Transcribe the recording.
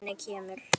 Hvernig kemur